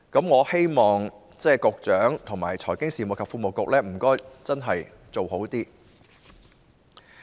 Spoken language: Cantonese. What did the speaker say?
我希望局長和財經事務及庫務局真的能作出改善。